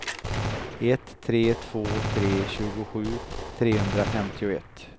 ett tre två tre tjugosju trehundrafemtioett